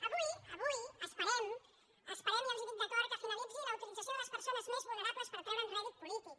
avui avui esperem i els ho dic de cor que finalitzi la utilització de les persones més vulnerables per treu·re’n rèdit polític